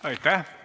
Aitäh!